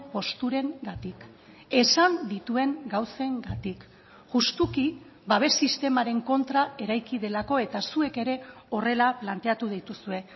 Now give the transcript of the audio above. posturengatik esan dituen gauzengatik justuki babes sistemaren kontra eraiki delako eta zuek ere horrela planteatu dituzue